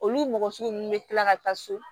Olu mɔgɔ sugu ninnu bɛ kila ka taa so